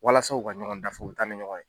Walasa u ka ɲɔgɔn dafa u t'a ni ɲɔgɔn ye